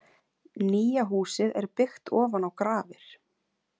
Nýja húsið er byggt ofan á grafir.